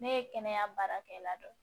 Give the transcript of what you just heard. Ne ye kɛnɛya baarakɛla dɔ ye